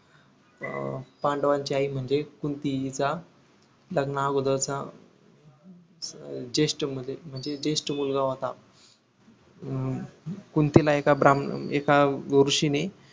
अं पांडवांची आई म्हणजेच कुंती हिचा लग्ना अगोदरचा अं जेष्ठ म्हणजे जेष्ठ मुलगा होता हम्म कुंतीला एका ब्राम्ह एका ऋषींनी